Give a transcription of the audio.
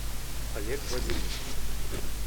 олег вадимович